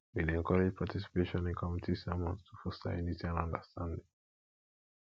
we dey encourage participation in community sermons to foster unity and understanding